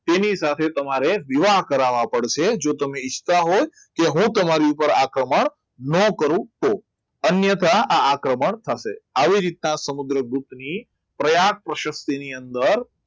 તેની સાથે તમારે વિવાહ કરવા પડશે જો તમે ઇચ્છતા હોય કે હું તમારી ઉપર આક્રમણ ન કરું તો અન્યથા આક્રમણ થશે આવી રીતના સમુદ્રગુપ્ત ની પ્રયાગ પ્રસક્તિની અંદર